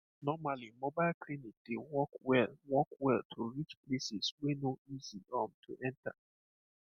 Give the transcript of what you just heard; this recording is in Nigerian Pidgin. normally mobile clinic dey work well work well to reach places wey no easy um to enter